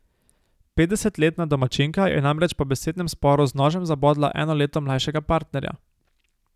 Petdesetletna domačinka je namreč po besednem sporu z nožem zabodla eno leto mlajšega partnerja.